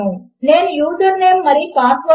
ఉదాహరణకు - ఎవరైనా ఒక ఫామ్ ను ఫిల్ చేయవచ్చు